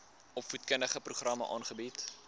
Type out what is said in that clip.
opvoedkundige programme aanbied